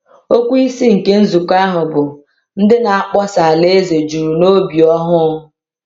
Okwu isi nke nzukọ ahụ bụ “Ndị Na-akpọsa Alaeze Juru N’obi Ọhụụ.”